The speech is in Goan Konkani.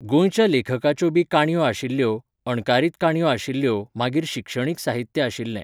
गोंयच्या लेखकाच्यो बी काणयो आशिल्ल्यो, अणकारीत काणयो आशिल्ल्यो मागीर शिक्षणीक साहित्य आशिल्लें